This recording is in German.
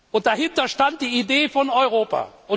Und dahinter stand die Idee von Europa.